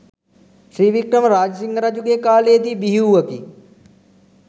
ශ්‍රී වික්‍රම රාජසිංහ රජුගේ කාලයේ දී බිහිවූවකි.